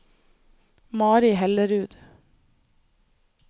Mari Hellerud